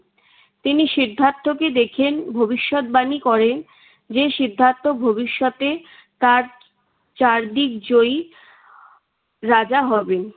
তিনি সিদ্ধার্থকে দেখেন। ভবিষ্যৎবাণী করেন। যে সিদ্ধার্থ ভবিষ্যতে তার চারদিক জয়ী রাজা হবেন।